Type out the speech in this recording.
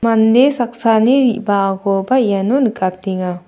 mande saksani ribaakoba iano nikatenga.